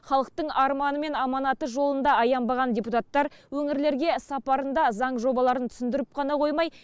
халықтың арманы мен аманаты жолында аянбаған депутаттар өңірлерге сапарында заң жобаларын түсіндіріп қана қоймай